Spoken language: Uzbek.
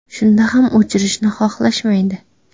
Shunda ham o‘chirishni xohlashmaydi.